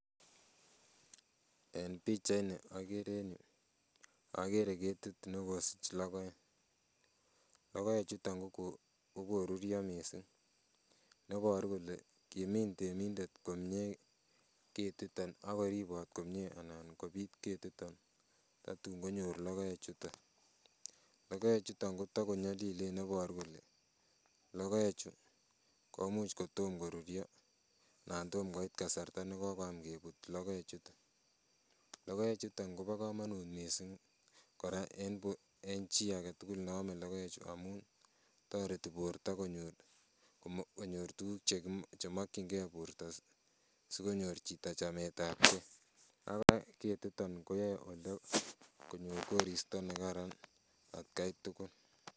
En pichait ni okere en yuu okere ketit nekosich logoek, logoek chuton kokoruryo missing neboru kole kimin temindet komie ketiton akoribon komie anan kobit ketiton tatun konyor logoek chuton. Logoek chuton kotakonyolilen neboru kole logoek chu komuch kotom koruryo anan tomkoit kasarta nekokoam kebut logoek chuton. Logoek chuton kobo komonut missing kora en bo en chii agetugul neome logoechu amun toreti borto konyor tuguk chemokiyingee borto sikonyor chito chametabgee. Kora ketiton koyoe konyor koristo nekaran atkai tugul.